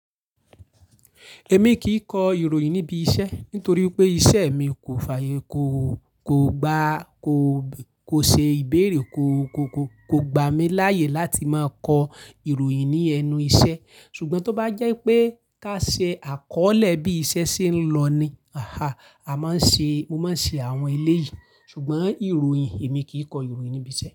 Èmi kì í kọ ìròyìn níbi iṣẹ́ nítorí pé iṣẹ́ mi kò fàyè, kò, kò gba, kò, kò ṣe ìbéèrè, kò, kò, kò, kò gbà mí láyè láti máa kọ ìròyìn ní ẹnu iṣẹ́. Ṣùgbọ́n tó bá jẹ́ pé ká ṣe àkọọ́lẹ̀ bí iṣẹ́ ṣe ń lọ ni, àhá, a máa ń ṣe, mo máa ń ṣe àwọn eléyìí. Ṣùgbọ́n ìròyìn èmi kì í kọ ìròyìn níbi iṣẹ́.